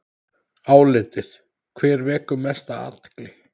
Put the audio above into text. Álitið: Hver vekur mesta athygli?